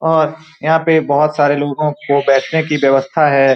और यहाँ पर बहुत सारे लोगों को बैठने की व्यवस्था है।